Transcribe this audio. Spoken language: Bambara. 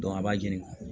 a b'a ɲini